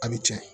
A bɛ tiɲɛ